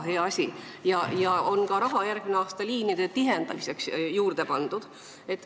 Ka raha on järgmisel aastal liinide tihendamiseks juurde pandud.